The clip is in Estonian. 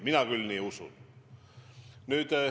Mina küll seda usun.